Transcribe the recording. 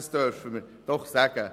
Das dürfen wir doch sagen.